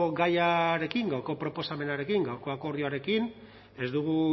gaiarekin gaurko proposamenarekin gaurko akordioarekin ez dugu